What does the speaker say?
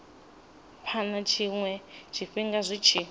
phana tshiwe tshifhinga zwi tshi